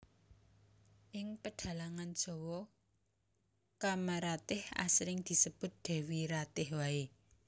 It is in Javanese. Ing pedhalangan Jawa Kamaratih asring disebut Dewi Ratih waé